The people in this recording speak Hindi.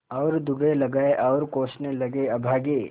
और दुर्रे लगाये और कोसने लगेअभागे